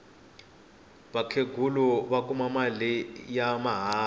vakhenghula va kuma mali ya mahala